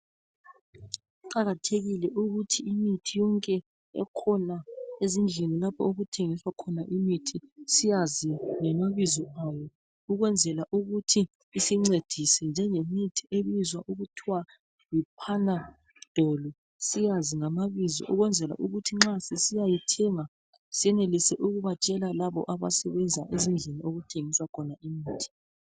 Kuqakathekile ukuthi imithi yonke ekhona ezindlini lapho okuthengiswa khona imithi siyazi ngamabizo awo ukwenzela ukuthi isincedise njengemithi ebizwa okuthwa yiPanadol siyazi ngamabizo ukwenzela ukuthi nxa sisiya yithenga senelise ukubatshela labo abasebenza ezindlini okuthengiswa khona imithi.